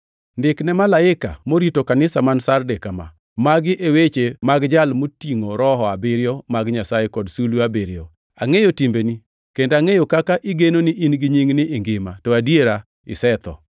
“Ndik ne malaika morito kanisa man Sarde kama: Magi e weche mag Jal motingʼo Roho abiriyo mag Nyasaye kod sulwe abiriyo. Angʼeyo timbeni; kendo kaka igeno ni in gi nying ni ingima to adiera isetho.